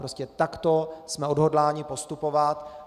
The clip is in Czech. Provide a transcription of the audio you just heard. Prostě takto jsme odhodláni postupovat.